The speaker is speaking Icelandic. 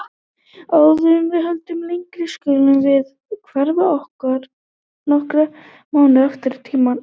Áður en við höldum lengra skulum við hverfa nokkra mánuði aftur í tímann.